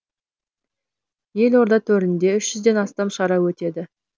елорда төрінде үш жүзден астам шара өтеді